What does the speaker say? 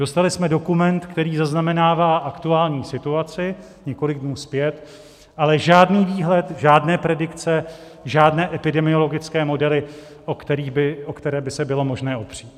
Dostali jsme dokument, který zaznamenává aktuální situaci několik dnů zpět, ale žádný výhled, žádné predikce, žádné epidemiologické modely, o které by se bylo možné opřít.